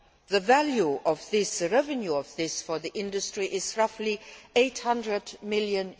The value of the revenue from this for the industry is roughly EUR 800 million.